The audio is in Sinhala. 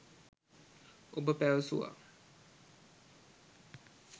ඔබ පැවසුවා